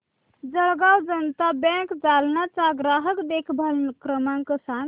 Jalgaon Janata bank Jalna चा ग्राहक देखभाल क्रमांक सांग